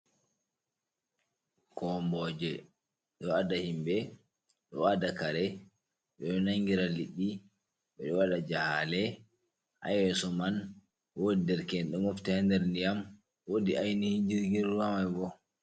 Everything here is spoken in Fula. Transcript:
Kombooje ɗo adda himɓe, ɗo adda kare, ɓe ɗo nanngira liɗɗi. Ɓe ɗo waɗa jahaale, haa yeeso man woodi dereke'en, ɗo mofti haa nder ndiyam. Woodi aynihi jirgin ruwa may bo.